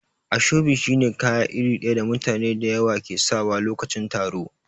Ashobi shi ne kaya iri daya da mutane da yawa ke sakawa lokacin taro.